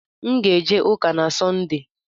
M ga-eje ụka na Sọnde.